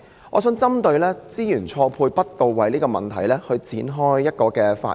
我的發言想以"資源錯配不到位"這問題作開始。